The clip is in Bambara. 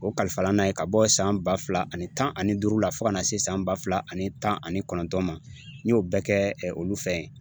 O kalifala n na yen ka bɔ san ba fila ani tan ani duuru la fo ka na se san ba fila ani tan ani kɔnɔntɔn ma n y'o bɛɛ kɛ olu fɛn yen